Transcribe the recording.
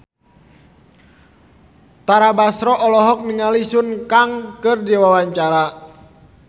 Tara Basro olohok ningali Sun Kang keur diwawancara